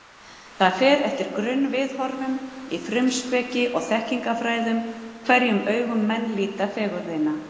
Það fer eftir grunnviðhorfum í frumspeki og þekkingarfræði, hverjum augum menn líta fegurðina.